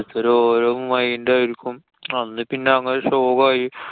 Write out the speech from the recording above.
ത്തരൊരോ mind ആയിരിക്കും. അന്ന് പിന്നെ അങ്ങനെ ശോകായി.